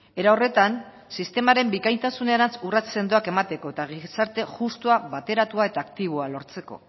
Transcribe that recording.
era horretan sistemaren bikaintasunerantz urrats sendoak emateko eta gizarte justua bateratua eta aktiboa lortzeko